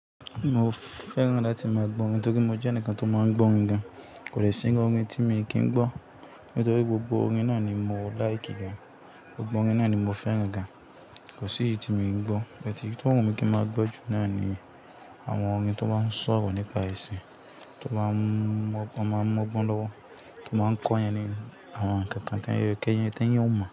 Mo fẹ́ràn láti máa gbọ́ orin torí mo jẹ́ ẹnìkan tó máa ń gbọ́ orin gan. Kò dẹ̀ sí irú orin tí mi kì í gbọ́. Nítorí gbogbo orin náà ni mo like gan, gbogbo orin náà ni mo fẹ́ràn gan. Kò sí èyí tí èmi kì í gbọ́. But èyí tówùn mi kí máa gbọ́ jù náà ni àwọn orin tó máa ń sọ̀rọ̀ nípa ẹ̀sìn, tó máa ń mọ́gbọ́n lọ́wọ́, tó máa ń kọ́ iyan ni àwọn nǹkan kan tí ẹ̀yin ó mọ̀